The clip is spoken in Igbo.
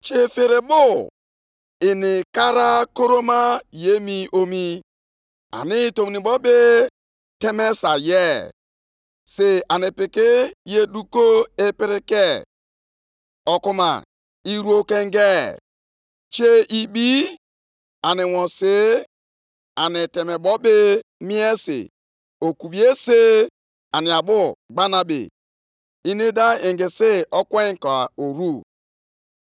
“Gịnị bụ uru arụsị bara ebe ọ bụ aka mmadụ kpụrụ ya? Kedụ uru igwe a kpụrụ akpụ bara, bụ nke na-ekwu okwu ụgha? Nʼihi na onye na-atụkwasị ha obi na-atụkwasị obi ya nʼihe ahụ aka ya rụpụtara, nʼihi na ọ bụ arụsị na-enweghị ike ikwu okwu ka o mere.